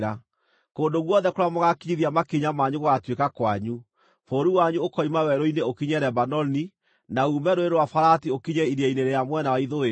Kũndũ guothe kũrĩa mũgaakinyithia makinya manyu gũgaatuĩka kwanyu; bũrũri wanyu ũkoima werũ-inĩ ũkinye Lebanoni, na uume Rũũĩ rwa Farati ũkinye iria-inĩ rĩa mwena wa ithũĩro.